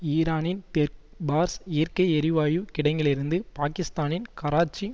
ஈரானின் தெற்கு பார்ஸ் இயற்கை எரிவாயு கிடங்கிலிருந்து பாகிஸ்தானின் கராச்சி